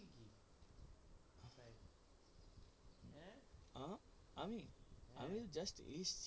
আহ আমি আমি এই just